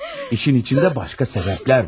İşin içində başka sebeplər var.